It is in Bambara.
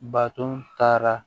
Baton taara